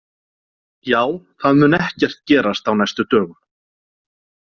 Já, það mun ekkert gerast á næstu dögum.